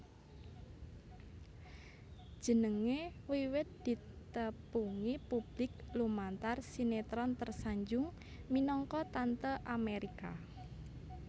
Jenengé wiwit ditepungi publik lumantar sinétron Tersanjung minangka Tante Amérika